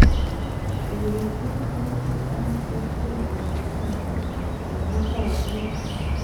kebiityi minutik ak kerichekap fangi che ng'atootin